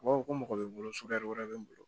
U b'a fɔ ko mɔgɔ bɛ n bolo sudali wɛrɛ bɛ n bolo